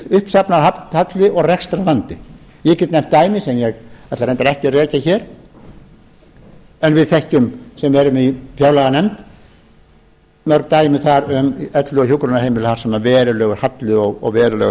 mikill uppsafnaður halli og rekstrarvandi ég get nefnt dæmi sem ég ætla reyndar ekki að rekja hér en við sem erum í fjárlaganefnd þekkjum mörg dæmi þar um elli og hjúkrunarheimili þar sem verulegur halli og verulegur